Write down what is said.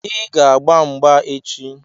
Ị ga-agba mgba echi!